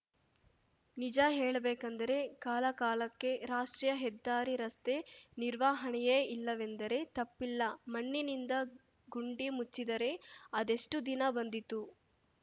ನಿಜ ಹೇಳಬೇಕಂದರೆ ಕಾಲ ಕಾಲಕ್ಕೆ ರಾಷ್ಟ್ರೀಯ ಹೆದ್ದಾರಿ ರಸ್ತೆ ನಿರ್ವಹಣೆಯೇ ಇಲ್ಲವೆಂದರೆ ತಪ್ಪಿಲ್ಲ ಮಣ್ಣಿನಿಂದ ಗುಂಡಿ ಮುಚ್ಚಿದರೆ ಅದೆಷ್ಟುದಿನ ಬಂದೀತು